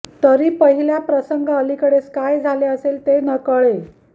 तरी पहिल्या प्रसंगा अलीकडेस काय जालें असेल ते न कळे